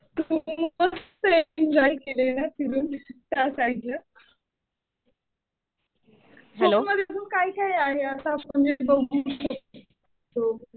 मस्त एन्जॉय केलं ना फिरून त्या साईडला. कोकणात अजून काय काय आहे असं म्हणजे बघू शकतो.